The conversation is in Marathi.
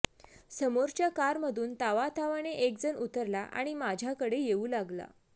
समोरच्याकार मधून तावातावाने एकजण उतरला आणि माझ्याकडे येऊ लागला